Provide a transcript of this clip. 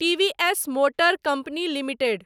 TVS motor company limited